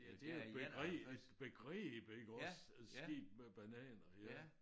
Det jo et begreb et begreb iggås et skib med bananer ja